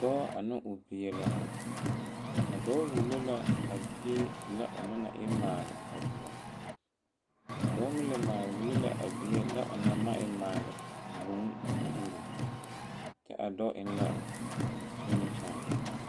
Dɔɔ ane o bie la a dɔɔ wulo la a bie lɛ o na na e maale a ɡuɔ a dɔɔ meŋ la maaleŋ wulo la a bie lɛ o na ma e maale vūū ka o uri kyɛ a dɔɔ eŋ la nimikyaane .